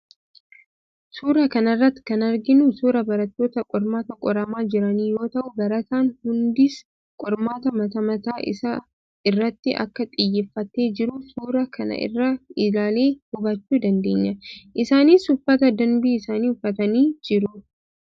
Suuraa kana irratti kan arginu suuraa barattoota qormaata qoramaa jiranii yoo ta'u, barataan hundis qormaata mataa mataa isaa irratti akka xiyyeeffatee jiru suuraa kana irraa ilaallee hubachuu dandeenya. Isaanis uffata danbii isaanii uffatanii jiru.